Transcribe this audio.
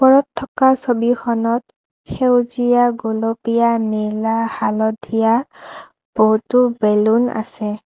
ওপৰত থকা ছবিখনত সেউজীয়া গুলপীয়া নীলা হালধীয়া বহুতো বেলুন আছে।